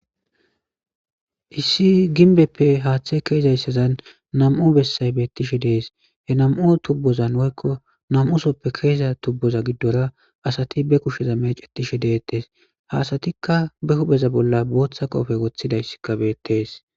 Issi ginbbeppe haathi keyizayssazan nam77u bessay beettishe de7ees. He nam77u tuubbozan woykko nam77usooppe keyiza tuubbozan giddora asati ba kusheza meecettishe de7ettees. Ha asatikka ba huupheza bolla bootha qoophe wothidayssikka beettees.